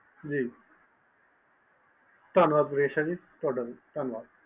ਧੰਨਵਾਦ ਤੁਹਾਡਾ ਵੀ ਈਸ਼ਾ ਜੀ